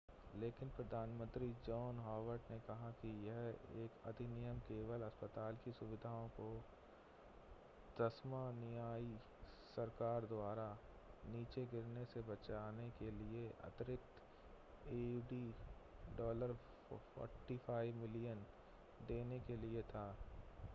लेकिन प्रधानमंत्री John Howard ने कहा है कि यह अधिनियम केवल अस्पताल की सुविधाओं को तस्मानियाई सरकार द्वारा नीचे गिरने से बचाने के लिए अतिरिक्त aud $45 मिलियन देने के लिए था